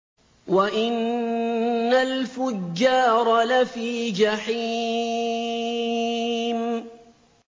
وَإِنَّ الْفُجَّارَ لَفِي جَحِيمٍ